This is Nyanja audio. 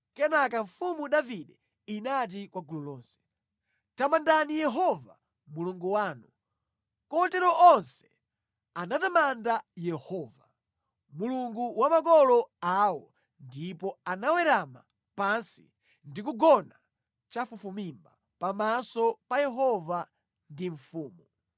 Kenaka mfumu Davide inati kwa gulu lonse, “Tamandani Yehova Mulungu wanu.” Kotero onse anatamanda Yehova, Mulungu wa makolo awo ndipo anawerama pansi ndi kugona chafufumimba pamaso pa Yehova ndi mfumu.